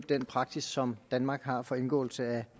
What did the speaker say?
den praksis som danmark har for indgåelse af